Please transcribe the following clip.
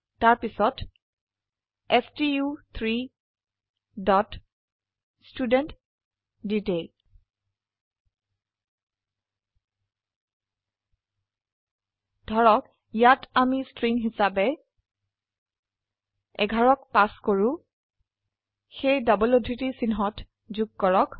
তাৰপিছত ষ্টু3 dot student detail ধৰক ইয়াত আমি স্ট্ৰিং হিচাবে 11ক পাস কৰো সেয়ে ডবল উদ্ধৃতি চিহ্ন যোগ কৰক